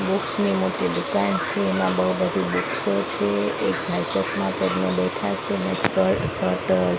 books ની મોટી દુકાન છે એમા બહુ બધી બુક્સો છે એક ભાઈ ચશ્મા પેરીને બેઠા છે ને સ્પર શર્ટ અ --